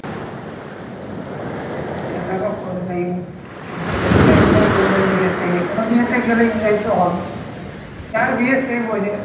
হ্যাঁ সেটা তো করবেই করতে এসেই তো enjoy করবেই বিয়ে তে যেকোনো বিয়েতে গেলে enjoy তো হবে যার বিয়ে সে বোঝে